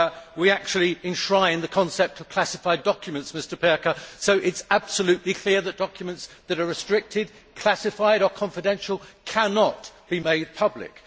We actually enshrine the concept of classified documents, Mr Pirker, so it is absolutely clear that documents that are restricted, classified or confidential cannot be made public.